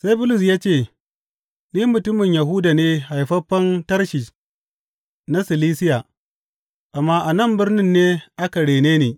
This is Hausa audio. Sai Bulus ya ce, Ni mutumin Yahuda ne haifaffen Tarshish na Silisiya, amma a nan birnin ne aka rene ni.